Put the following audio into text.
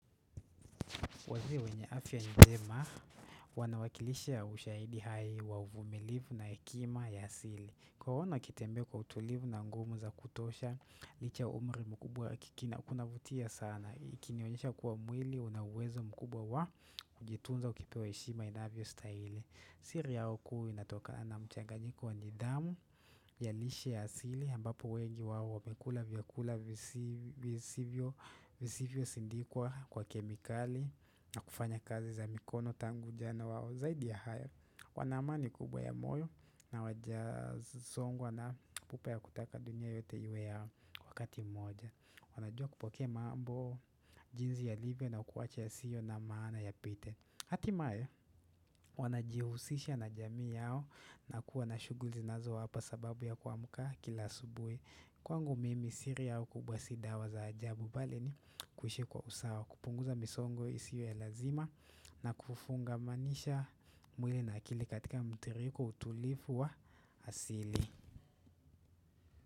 Wazia wenye afya njema wanawakilisha ushaidi hai wa uvumilivu na hekima ya asili. Kuwaona wakitembea kwa utulivu na nguvu za kutosha, licha umri mkubwa kuna vutia sana. Ikinionyesha kuwa mwili, una uwezo mkubwa wa kujitunza ukipewa heshima inavyo stahili. Siri yao kuu inatokana na mchanganyiko wa nidhamu ya lishe ya asili ambapo wengi wawo wamekula vyakula visivyo sindikwa kwa kemikali na kufanya kazi za mikono tangu jana wawo Zaidi ya haya, wana amani kubwa ya moyo na wajasongwa na pupa ya kutaka dunia yote iwe yao wakati moja wanajua kupokea maambo jinzi yalivyo na kuwacha yasiyo na maana yapite Atimae wanajihusisha na jamii yao na kuwa na shuguri inazowapa sababu ya kamuka kila asubui Kwangu mimi siri yao kubwa si dawa za ajabu bali ni kuhishi kwa usawa kupunguza misongo isio ya lazima na kufunga manisha mwili na akili katika mtiriko utulifu wa asili.